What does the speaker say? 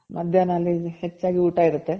ಮಧ್ಯಾಹ್ನ ಅಲ್ಲಿ ಇಲ್ಲಿ ಹೆಚ್ಚಾಗಿ ಊಟ ಇರುತ್ತೆ